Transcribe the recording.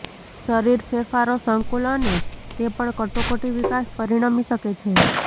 શરીર ફેરફારો સંકુલ અને તે પણ કટોકટી વિકાસ પરિણમી શકે છે